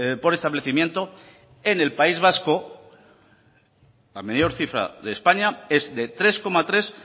por establecimiento en el país vasco la mayor cifra de españa es de tres coma tres